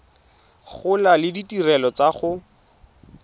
gola le ditirelo tsa go